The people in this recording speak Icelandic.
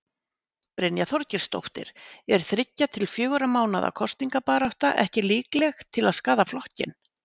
Brynja Þorgeirsdóttir: Er þriggja til fjögurra mánaða kosningabarátta ekki líkleg til að skaða flokkinn?